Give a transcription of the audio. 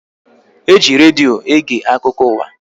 E ji redio ege akụkọ ụwa